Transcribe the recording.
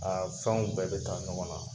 Aa fɛnw bɛɛ be taa ɲɔgɔn na.